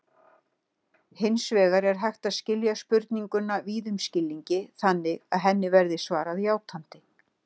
Hins vegar er hægt að skilja spurninguna víðum skilningi þannig að henni verði svarað játandi.